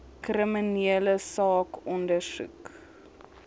kriminele saak ondersoek